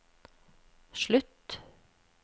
slutt